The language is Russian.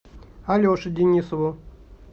алеше денисову